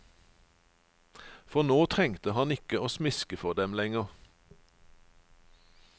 For nå trengte han ikke å smiske for dem lenger.